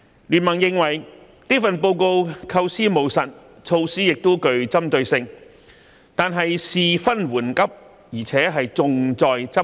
經民聯認為這份報告構思務實，措施亦具針對性，但事分緩急，而且重在執行。